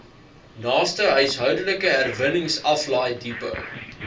naaste huishoudelike herwinningsaflaaidepot